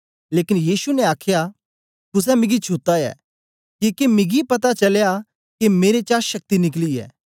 लेकन यीशु ने आखया कुसे मिगी छुत्ता ऐ किके मिगी पता चलया के मेरे चा शक्ति निकली ऐ